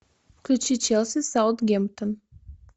включи челси саутгемптон